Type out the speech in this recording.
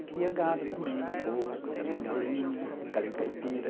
Cria gado também, porco também, galinha, galinha caipira.